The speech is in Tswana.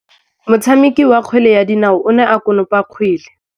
Motshameki wa kgwele ya dinaô o ne a konopa kgwele.